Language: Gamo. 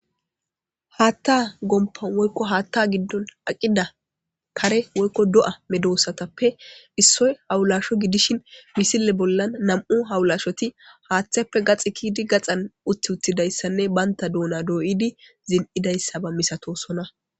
Haatta gomppan woykko haatta giddon aqida kare woykko do'a medosatappe issoy hawulasho gidishin misile bollan nam'u hawulashoti haatheppe gaxi kiyidi gaxan utti uttidayssanne banta duuna dooyidi zin'idayssaba misatosona.